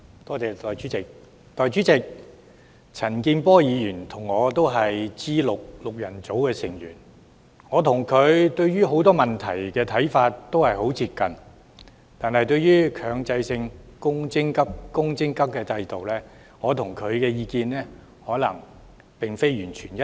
代理主席，陳健波議員和我也是 G6 的成員，我倆對很多問題的看法均十分接近，但對於強制性公積金制度的意見卻恐怕並非完全一致。